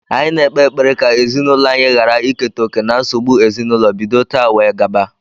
Anyi na-ekpe ekpere ka ezinaūlo anyi ghara iketa oke na nsogbu ezinaūlo bido tata wee gaba